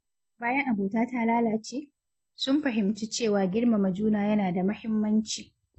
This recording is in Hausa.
Bayan abota ta lalace, sun fahimci cewa girmama juna yana da mahimmanci.